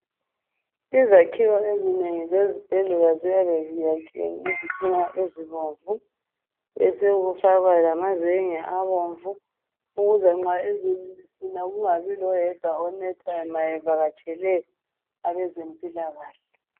Izakhiwo ezinengi zezibhedlela ziyabe Ziyakhiwe ngezitina ezibomvu besekufakwa lamazenge abomvu ukuze nxa izulu lisina kungabi ngitsho loyedwa onethwayo nxa bevakatshele abezempilakahle